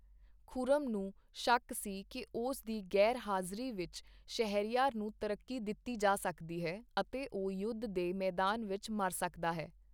ਖੁਰਮ ਨੂੰ ਸ਼ੱਕ ਸੀ ਕਿ ਉਸ ਦੀ ਗ਼ੈਰ ਹਾਜ਼ਰੀ ਵਿੱਚ, ਸ਼ਹਰਯਾਰ ਨੂੰ ਤਰੱਕੀ ਦਿੱਤੀ ਜਾ ਸਕਦੀ ਹੈ ਅਤੇ ਉਹ ਯੁੱਧ ਦੇ ਮੈਦਾਨ ਵਿੱਚ ਮਰ ਸਕਦਾ ਹੈ।